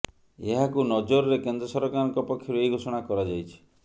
ଏହାକୁ ନଜରରେ କେନ୍ଦ୍ର ସରକାରଙ୍କ ପକ୍ଷରୁ ଏହି ଘୋଷଣା କରାଯାଇଛି